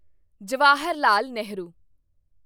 Jawaharlal Nehru